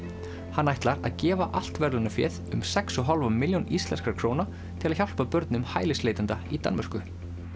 hann ætlar að gefa allt verðlaunaféð um sex og hálfa milljón íslenskra króna til að hjálpa börnum hælisleitenda í Danmörku